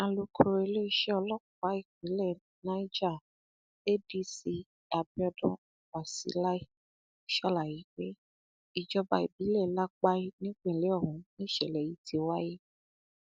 alukoro iléeṣẹ ọlọpàá ìpínlẹ niger adc abiodun wasilai sàlàyé pé ìjọba ìbílẹ lápàì nípìnlẹ ọhún nìṣẹlẹ yìí ti wáyé